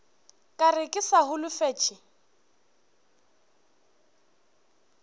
ka re ke sa holofetše